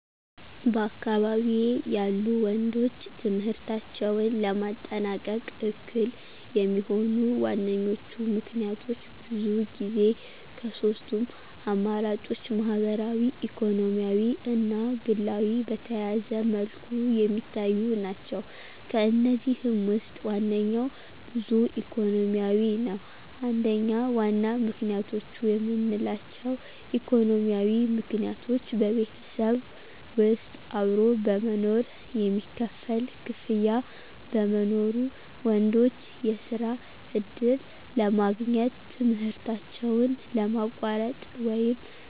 በአካባቢዬ ያሉ ወንዶች ትምህርታቸውን ለማጠናቀቅ እክል የሚሆኑ ዋነኞቹ ምክንያቶች ብዙ ጊዜ ከሶስቱም አማራጮች ማህበራዊ ኢኮኖሚያዊ እና ግላዊ ጋር በተያያዘ መልኩ የሚታዩ ናቸው። ከእነዚህም ውስጥ ዋነኛው ብዙ ጊዜ ኢኮኖሚያዊ ነው። 1. ዋና ምክንያቶች የምንላቸው: ኢኮኖሚያዊ ምክንያቶች በቤተሰብ ውስጥ አብሮ በመኖር የሚከፈል ክፍያ በመኖሩ፣ ወንዶች የስራ ዕድል ለማግኘት ትምህርታቸውን ለማቋረጥ ወይም